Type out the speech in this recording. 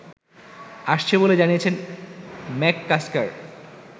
আসছে বলে জানিয়েছেন ম্যাককাস্কার